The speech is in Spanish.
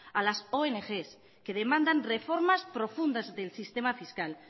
a las ongs que demandan reformas profundas del sistema fiscal